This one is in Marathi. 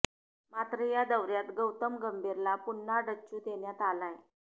मात्र या दौर्यात गौतम गंभीरला पुन्हा डच्चू देण्यात आलाय